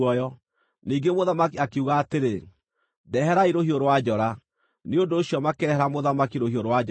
Ningĩ mũthamaki akiuga atĩrĩ, “Ndeherai rũhiũ rwa njora.” Nĩ ũndũ ũcio makĩrehera mũthamaki rũhiũ rwa njora.